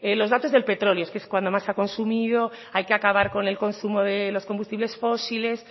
los datos del petróleo es que es cuando más se ha consumido hay que acabar con el consumo de los combustibles fósiles